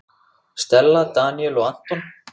Stella, Daníel og Anton.